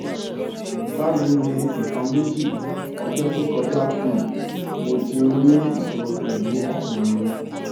bayii ni nnkan meji ọjọ to kọjá um mo ti n ri iṣoro pẹlu ọrun mi